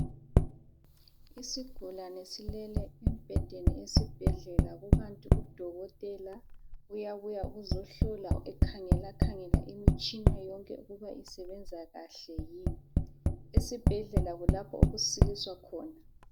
Isigulane silele embhedeni esibhedlela kukanti udokotela uyabuya uzohlola, ekhangelakhangela imitshina yonke ukuba isebenza kahle. Esibhedlela kulapho okusiliswa khona.